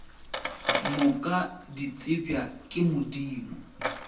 moka di tsebja ke modimo